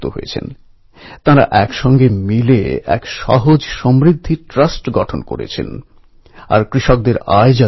ঐ গলির সব পরিবার মিলেমিশে ঐ গণেশ উৎসবের আয়োজন করে